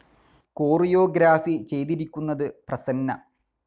Chorio ഗ്രാഫി ചെയ്തിരിക്കുന്നത് പ്രസന്ന.